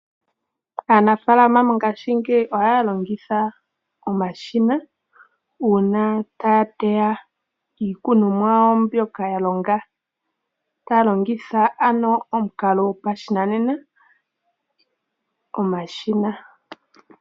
Aanafalama mongashingeyi ohaya longitha omashina una taya teya iikunumwa yawo mbyoka ya longa, taya lonigtha ano omukalo gwopashinanena, omashina.